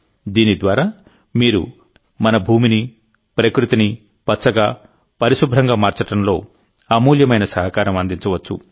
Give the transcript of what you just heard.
దీని ద్వారామీరు మన భూమిని ప్రకృతిని పచ్చగా పరిశుభ్రంగా మార్చడంలో అమూల్యమైన సహకారం అందించవచ్చు